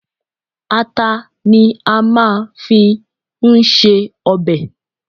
Ata ni a máa fi ń ṣe ọbẹ̀.